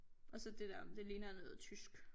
Og så det deromme det ligner noget tysk